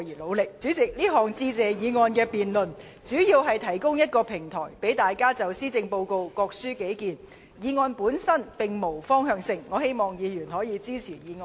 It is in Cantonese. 主席，這項有關"致謝議案"的辯論主要是提供一個平台，讓大家就施政報告各抒己見，議案本身並無方向性，希望議員可予以支持。